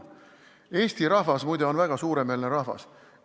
Eesti rahvas, muide, on väga suuremeelne rahvas.